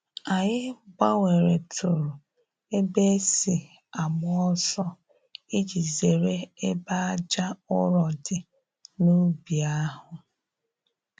Anyị gbanweretụrụ ebe e si agba ọsọ iji zere ebe aja ụrọ dị n’ubi ahụ.